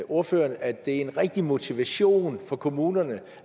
ordføreren at det er en rigtig motivation for kommunerne og